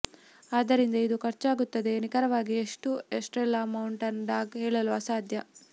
ಆದ್ದರಿಂದ ಇದು ಖರ್ಚಾಗುತ್ತದೆ ನಿಖರವಾಗಿ ಎಷ್ಟು ಎಸ್ಟ್ರೇಲಾ ಮೌಂಟನ್ ಡಾಗ್ ಹೇಳಲು ಅಸಾಧ್ಯ